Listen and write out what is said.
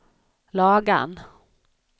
Lagan